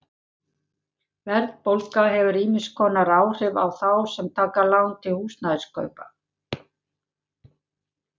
Verðbólga hefur ýmiss konar áhrif á þá sem taka lán til húsnæðiskaupa.